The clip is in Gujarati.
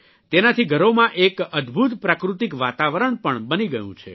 તેનાથી ઘરોમાં એક અદભૂત પ્રાકૃતિક વાતાવરણ પણ બની ગયું છે